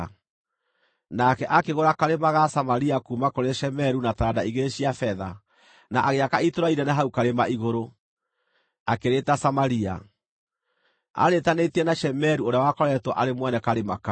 Nake akĩgũra karĩma ga Samaria kuuma kũrĩ Shemeru na taranda igĩrĩ cia betha, na agĩaka itũũra inene hau karĩma igũrũ, akĩrĩĩta Samaria, arĩĩtanĩtie na Shemeru ũrĩa wakoretwo arĩ mwene karĩma kau.